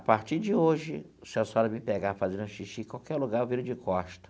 A partir de hoje, se a senhora me pegar fazendo xixi em qualquer lugar, eu viro de costa.